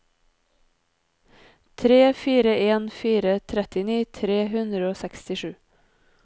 tre fire en fire trettini tre hundre og sekstisju